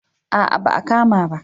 A'a ba a kama ba